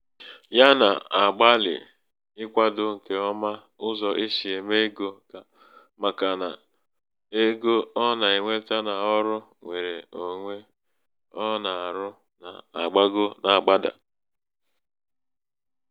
ya nà-àgbalị̀ ịkwādō ṅ̀kè ọma ụzọ̀ e si ème ego màkà nà ego ọ nà-ènweta n’ọrụ ṅwere ōnwē ọ nà-àrụ nà-àgbago na-àgbadà.